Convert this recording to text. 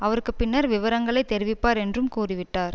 அவருக்கு பின்னர் விவரங்களை தெரிவிப்பார் என்றும் கூறிவிட்டார்